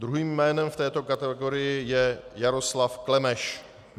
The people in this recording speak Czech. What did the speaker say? Druhém jménem v této kategorii je Jaroslav Klemeš.